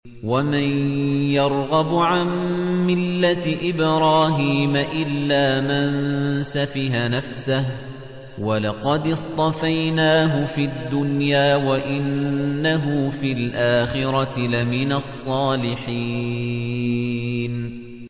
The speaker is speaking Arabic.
وَمَن يَرْغَبُ عَن مِّلَّةِ إِبْرَاهِيمَ إِلَّا مَن سَفِهَ نَفْسَهُ ۚ وَلَقَدِ اصْطَفَيْنَاهُ فِي الدُّنْيَا ۖ وَإِنَّهُ فِي الْآخِرَةِ لَمِنَ الصَّالِحِينَ